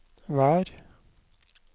vær